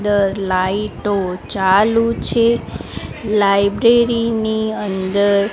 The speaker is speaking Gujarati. દર લાઈટો ચાલુ છે લાઇબ્રેરી ની અંદર--